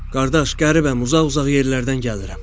Qardaş, qəribəm, uzaq-uzaq yerlərdən gəlirəm.